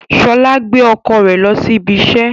Ṣọla gbé ọkọ rẹ lo sí ibí iṣẹ